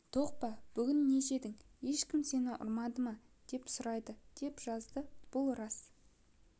тоқ па бүгін не жедің ешкім сені ұрмады ма деп сұрайды деп жазыпты бұл рас